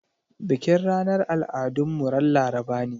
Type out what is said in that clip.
Bikin ranar al'adun mu ran Laraba ne.